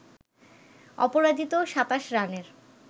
অপরাজিত ২৭ রানের